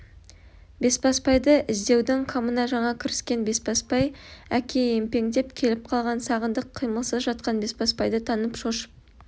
бесбасбайды іздеудің қамына жаңа кіріскен бесбасбай әке емпеңдеп келіп қалған сағындық қимылсыз жатқан бесбасбайды танып шошып